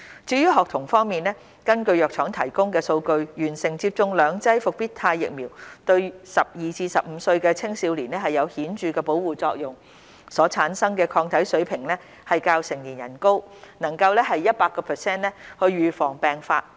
至於學童方面，根據藥廠提供的數據，完成接種兩劑復必泰疫苗對12至15歲青少年有顯著的保護作用，所產生的抗體水平較成年人高，能夠 100% 預防病發。